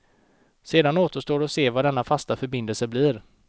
Sedan återstår att se vad denna fasta förbindelse blir.